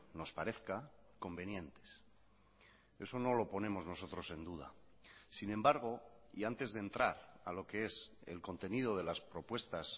nos parezca convenientes eso no lo ponemos nosotros en duda sin embargo y antes de entrar a lo que es el contenido de las propuestas